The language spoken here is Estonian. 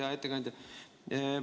Hea ettekandja!